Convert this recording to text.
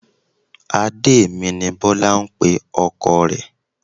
Adé mi ni Bọ́lá ń pe ọkọ rẹ̀